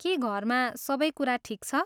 के घरमा सबै कुरा ठिक छ?